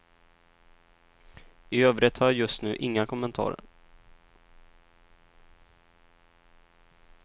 I övrigt har jag just nu inga kommentarer.